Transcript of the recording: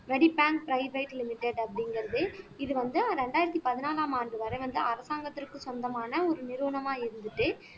வரிப்பேன் private limited அப்படிங்கிறது இது வந்து இரண்டாயிரத்தி பதினாலாம் ஆண்டு வரை வந்து அரசாங்கத்திற்கு சொந்தமான ஒரு நிறுவனமா இருந்துட்டு